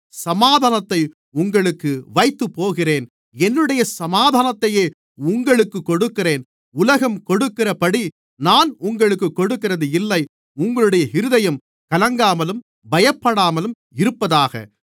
சமாதானத்தை உங்களுக்கு வைத்துப் போகிறேன் என்னுடைய சாமாதானத்தையே உங்களுக்குக் கொடுக்கிறேன் உலகம் கொடுக்கிறபடி நான் உங்களுக்குக் கொடுக்கிறதில்லை உங்களுடைய இருதயம் கலங்காமலும் பயப்படாமலும் இருப்பதாக